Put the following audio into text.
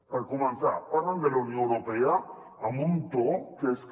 per començar parlen de la unió europea amb un to que és que